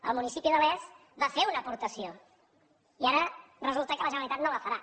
el municipi de les va fer una aportació i ara resulta que la generalitat no la farà